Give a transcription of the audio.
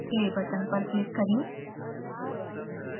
play button पर click करें